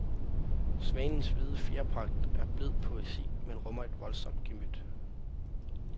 Svanens hvide fjerpragt er blid poesi, men rummer et voldsomt gemyt.